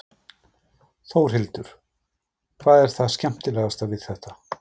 Þórhildur: Hvað er það skemmtilegasta við þetta?